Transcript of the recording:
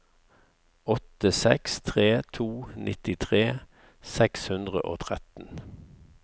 åtte seks tre to nittitre seks hundre og tretten